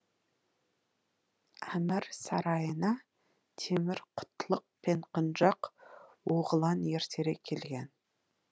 әмір сарайына темір құтлық пен құнжақ оғлан ертерек келген